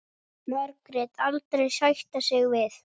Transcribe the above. Margrét aldrei sætta sig við.